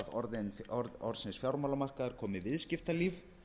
í stað orðsins fjármálamarkaður komi viðskiptalíf